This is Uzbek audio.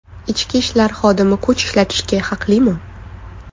Ichki ishlar xodimi kuch ishlatishga haqlimi?.